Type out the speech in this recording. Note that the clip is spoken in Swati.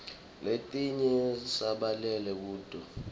letinye sibhalela kuto